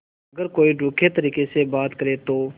अगर कोई रूखे तरीके से बात करे तो